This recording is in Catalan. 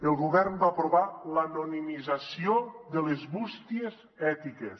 el govern va aprovar l’anonimització de les bústies ètiques